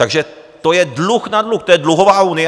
Takže to je dluh na dluh, to je dluhová unie.